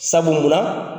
Sabula